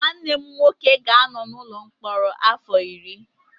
Nwanne m nwoke ga-anọ n'ụlọ mkpọrọ afọ iri